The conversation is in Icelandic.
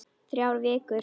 Þrjár vikur.